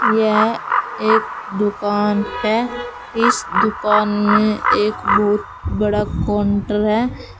यह एक दुकान है इस दुकान में एक बहुत बड़ा काउंटर है।